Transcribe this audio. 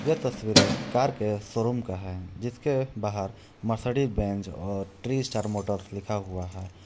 यह तस्वीर एक कार के शोरूम का है। जिसके बाहर मर्सिडीज बेंज और ट्रिस्टर मोटर्स लिखा हुआ है।